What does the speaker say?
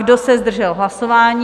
Kdo se zdržel hlasování?